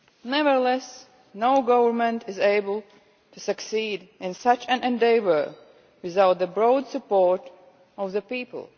Nevertheless, no government is able to succeed in such an endeavour without the broad support of the people.